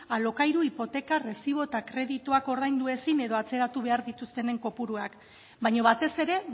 alokairu hipoteka errezibo eta kredituak ordaindu ezin edo atzeratu behar dituztenen kopuruak baina batez ere